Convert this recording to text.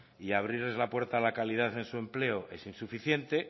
y abrirles la puerta a la calidad en su empleo es insuficiente